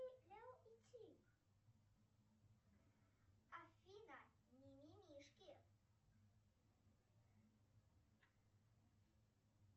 афина мимимишки